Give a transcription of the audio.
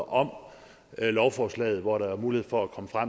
om lovforslaget hvor der var mulighed for at komme